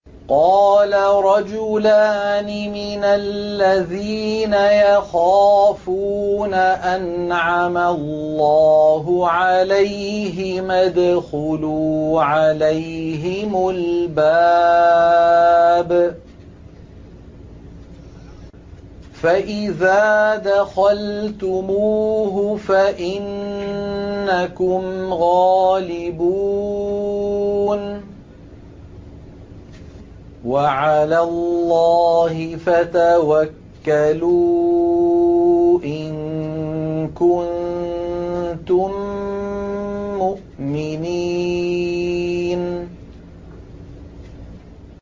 قَالَ رَجُلَانِ مِنَ الَّذِينَ يَخَافُونَ أَنْعَمَ اللَّهُ عَلَيْهِمَا ادْخُلُوا عَلَيْهِمُ الْبَابَ فَإِذَا دَخَلْتُمُوهُ فَإِنَّكُمْ غَالِبُونَ ۚ وَعَلَى اللَّهِ فَتَوَكَّلُوا إِن كُنتُم مُّؤْمِنِينَ